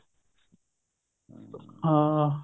ਹਾਂ